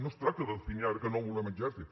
no es tracta de definir ara que no volem exèrcit